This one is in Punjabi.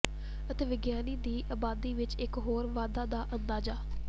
ਅਤੇ ਵਿਗਿਆਨੀ ਦੀ ਆਬਾਦੀ ਵਿਚ ਇਕ ਹੋਰ ਵਾਧਾ ਦਾ ਅੰਦਾਜ਼ਾ